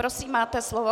Prosím, máte slovo.